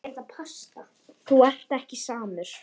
Þú ert ekki samur.